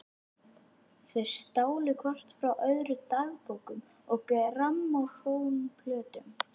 Þau stálu hvort frá öðru dagbókum og grammófónplötum.